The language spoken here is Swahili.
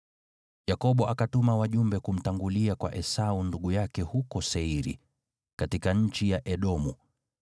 Yakobo akatuma wajumbe kumtangulia kwa Esau ndugu yake huko Seiri, katika nchi ya Edomu.